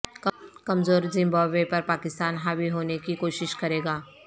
کمزور زمبابوے پر پاکستان حاوی ہونے کی کوشش کریگا